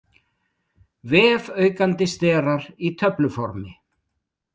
Vefaukandi sterar í töfluformi.